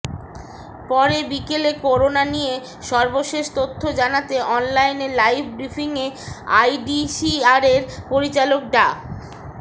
পরে বিকালে করোনা নিয়ে সর্বশেষ তথ্য জানাতে অনলাইনে লাইভ ব্রিফিংয়ে আইইডিসিআরের পরিচালক ডা